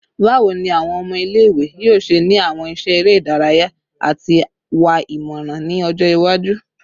Bawo ni awọn ọmọ ile-iwe yoo ṣe ni awọn iṣẹ ere idaraya ati wa imọran ni ọjọ iwaju?